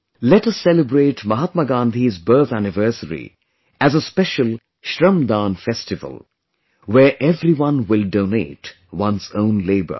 Let us celebrate Mahatma Gandhi's birth anniversary as a special 'Shramdaan' Festival, where everyone will donate one's own labour